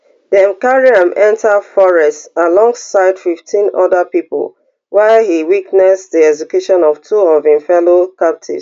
dem carry am enta forest alongside fifteen oda pipo while e witness di execution of two of im fellow captives